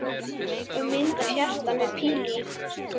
Og mynd af hjarta með pílu í.